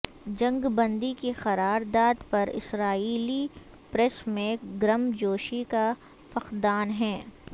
جنگ بندی کی قرار داد پر اسرائیلی پریس میں گرم جوشی کا فقدان ہے